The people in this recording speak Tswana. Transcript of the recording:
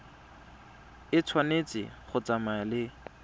e tshwanetse go tsamaya le